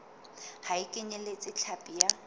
ha e kenyeletse hlapi ya